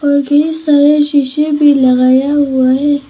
और ढेर सारा शीशे भी लगाया हुआ है।